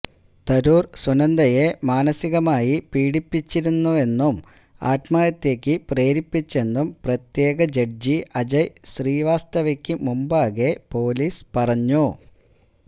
തരൂർ സുനന്ദയെ മാനസികമായി പീഡിപ്പിച്ചിരുന്നെന്നും ആത്മഹത്യക്കു പ്രേരിപ്പിച്ചെന്നും പ്രത്യേകജഡ്ജി അജയ് ശ്രീവാസ്തവയ്ക്കു മുമ്പാകെ പോലീസ് പറഞ്ഞു